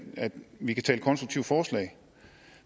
vi kan tale konstruktive forslag